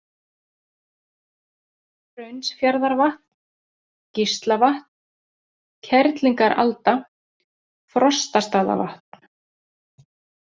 Hraunsfjarðarvatn, Gíslavatn, Kerlingaralda, Frostastaðavatn